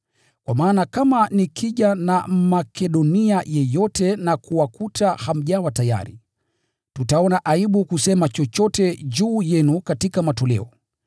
Kwa maana kama nikija na Mmakedonia yeyote na kuwakuta hamjawa tayari, tutaona aibu kusema chochote juu yenu katika matoleo.